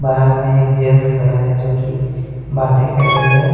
बाहर मैं एक जेंट्स खड़ा है जो की बातें कर रही है।